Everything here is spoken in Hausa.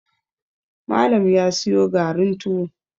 Malam ya siyo garin tuwo